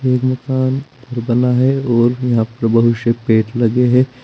जो बना है और यहां पे बहुत से पेड़ लगे है।